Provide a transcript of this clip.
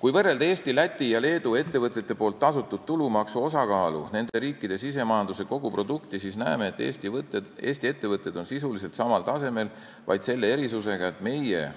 Kui võrrelda Eesti, Läti ja Leedu ettevõtete tasutud tulumaksu osakaalu nende riikide SKT-s, siis näeme, et Eesti ettevõtted on sisuliselt samal tasemel, vaid selle erisusega, et meil on